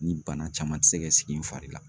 Ni bana caman tɛ se ka sigi n fari kan